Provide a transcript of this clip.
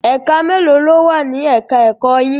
Ẹ̀ka mélòó ló wà ni ẹ̀ka ẹ̀kọ́ yín?